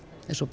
eins og